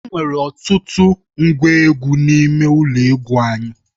Enwere ọtụtụ ngwa egwu n'ime ụlọ egwu anyị.